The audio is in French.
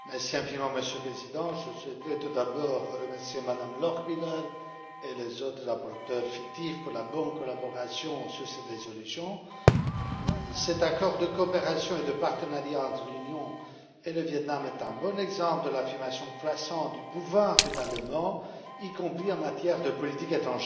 Monsieur le Président, je souhaiterais tout d'abord remercier Mme Lochbihler et les autres rapporteurs fictifs pour leur bonne collaboration sur cette résolution. Cet accord de coopération et de partenariat entre l'Union et le Viêt Nam est un bon exemple de l'affirmation croissante du pouvoir du Parlement, y compris en matière de politique étrangère.